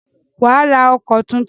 Wà á ra ọkọ̀ tuntun.